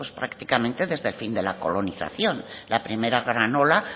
pues prácticamente desde el fin de la colonización la primera gran ola